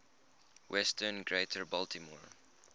western greater baltimore